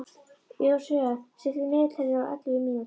Joshua, stilltu niðurteljara á ellefu mínútur.